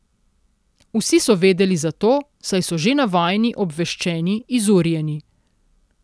Vsi so vedeli za to, saj so že navajeni, obveščeni, izurjeni.